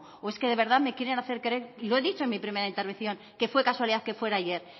o es que de verdad me quieren hacer creer y lo he dicho en mi primera intervención que fue casualidad que fuera ayer